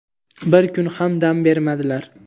bir kun ham dam bermadilar.